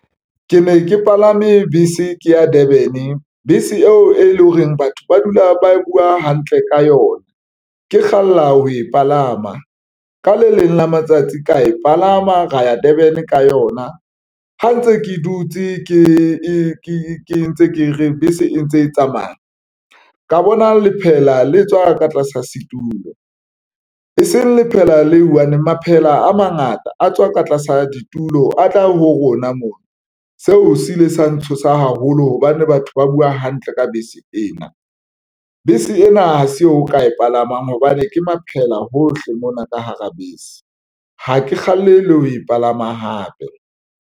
Ke ne ke palame bese ke ya Durban, bese eo e leng hore batho ba dula ba buwa hantle ka yona, ke kgalla ho e palama ka le leng la matsatsi ka e palama ra ya Durban ka yona. Ha ntse ke dutse ke ntse ke re bese e ntse e tsamaya ka bona lephela le tswa ka tlasa setulo, e seng lephela le one maphela a mangata a tswa ka tlasa ditulo a tla ho rona mona. Seo se ile sa ntshosa haholo hobane batho ba buwa hantle ka bese ena. Bese ena ha se o ka e palamang hobane ke maphela hohle mona ka hara bese. Ha ke kgalle le ho e palama hape.